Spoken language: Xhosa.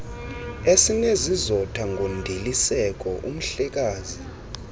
esinesizotha ngondiliseko umhlekazi